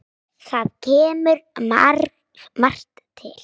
Þar kemur margt til.